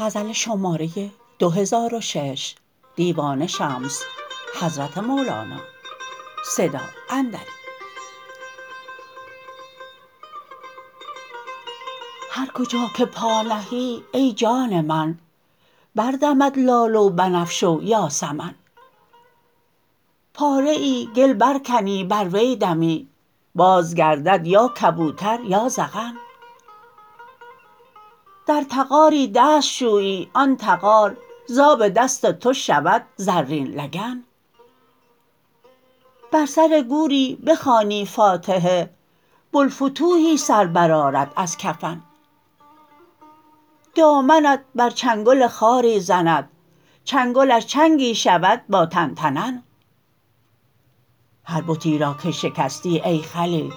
هر کجا که پا نهی ای جان من بردمد لاله و بنفشه و یاسمن پاره گل برکنی بر وی دمی بازگردد یا کبوتر یا زغن در تغاری دست شویی آن تغار ز آب دست تو شود زرین لگن بر سر گوری بخوانی فاتحه بوالفتوحی سر برآرد از کفن دامنت بر چنگل خاری زند چنگلش چنگی شود با تن تنن هر بتی را که شکستی ای خلیل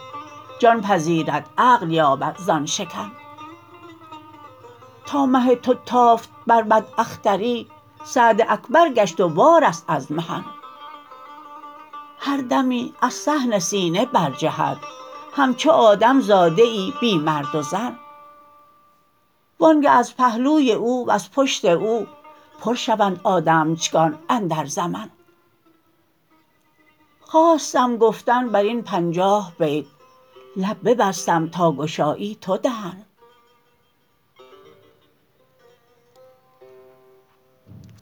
جان پذیرد عقل یابد زان شکن تا مه تو تافت بر بداختری سعد اکبر گشت و وارست از محن هر دمی از صحن سینه برجهد همچو آدم زاده ای بی مرد و زن وآنگه از پهلوی او وز پشت او پر شوند آدمچگان اندر زمن خواستم گفتن بر این پنجاه بیت لب ببستم تا گشایی تو دهن